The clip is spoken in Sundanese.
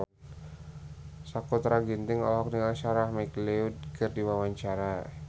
Sakutra Ginting olohok ningali Sarah McLeod keur diwawancara